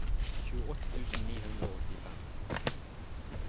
tjueåtte tusen ni hundre og åttifem